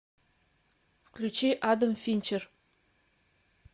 включи адам финчер